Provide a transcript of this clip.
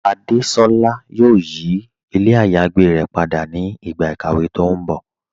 Adésolá yóò yí ilẹ̀ àyágbé rẹ̀ pada ni ìgba ikàwé tó n bọ́.